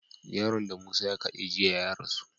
Yaron da musa ya kade jiya ya rasu